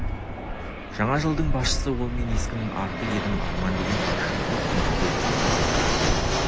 жаңа жылдың басшысы ол мен ескінің арты едім арман деген ащы сол сүйекке тиді қарт едім